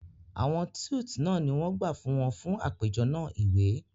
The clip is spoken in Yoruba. Awọn suites náà ni wọ́n gbà fún wọn fún àpéjọ náà iwe